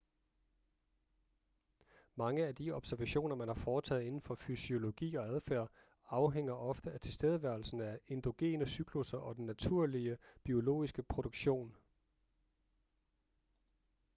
mange af de observationer man har foretaget indenfor fysiologi og adfærd afhænger ofte af tilstedeværelsen af endogene cyklusser og den naturlige biologiske produktion